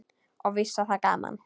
Og víst var það gaman.